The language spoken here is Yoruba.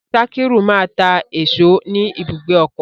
Sakiru ma ta èso ni ibùgbé ọkọ.